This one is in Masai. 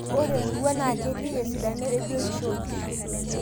ore emurua na ketii esidano ebiotisho e nkishui